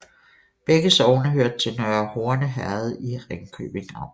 Begge sogne hørte til Nørre Horne Herred i Ringkøbing Amt